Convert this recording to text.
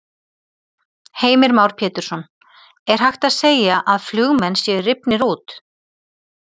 Heimir Már Pétursson: Er hægt að segja að flugmenn séu rifnir út?